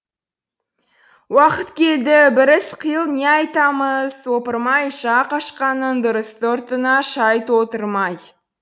уақыт келді бір іс қыл не айтамыз ойпырмай жақ ашқаның дұрыс ты ұртыңа шай толтырмай